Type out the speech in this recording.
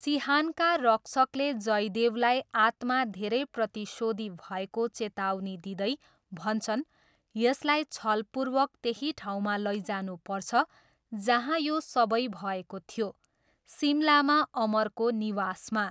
चिहानका रक्षकले जयदेवलाई आत्मा धेरै प्रतिशोधी भएको चेतावनी दिँदै भन्छन्, यसलाई छलपूर्वक त्यही ठाउँमा लैजानुपर्छ जहाँ यो सबै भएको थियो, सिमलामा अमरको निवासमा।